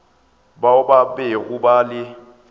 bao ba bego ba le